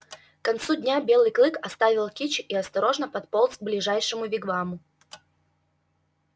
к концу дня белый клык оставил кичи и осторожно подполз к ближайшему вигваму